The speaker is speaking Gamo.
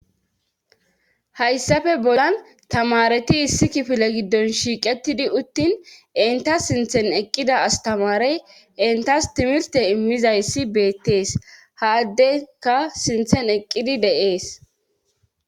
hayssafe bolan tamareti issi kifile giddon shiiqettidi uttin inta sinthen eqqida astamarey entas timilte immizayssi beettees haaddeka sinthen eqqidi deees